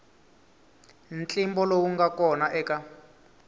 ntlimbo lowu nga kona eka